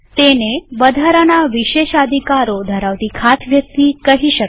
તેને વધારાના વિશેષાધિકારો ધરાવતી ખાસ વ્યક્તિ કહી શકાય